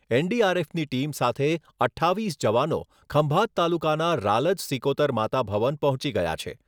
એન.ડીઆર.એફની team સાથે અઠ્ઠાવીસ જવાનો ખંભાત તાલુકાના રાલજ સિકોતર માતા ભવન પહોંચી ગયા છે.